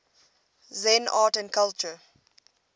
zen art and culture